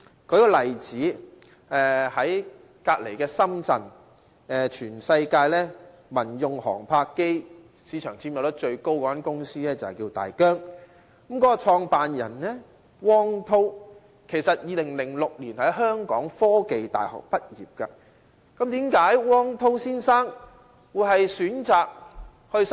舉一個例子，一家落戶在隔鄰深圳的公司叫大疆，是全世界民用航拍機市場佔有率最高的公司，其創辦人汪滔，是2006年香港科技大學的畢業生。